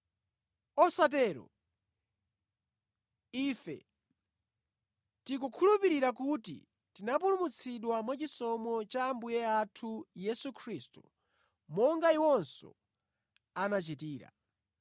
Osatero! Ife tikukhulupirira kuti tinapulumutsidwa mwachisomo cha Ambuye athu Yesu Khristu, monga iwonso anachitira.”